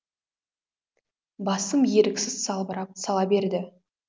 басым еріксіз салбырап сала берді